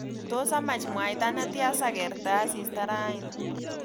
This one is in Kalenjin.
Tos amach mwaita netya sagerte asista rani